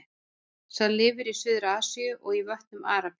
Sá lifir í Suður-Asíu og í vötnum í Arabíu.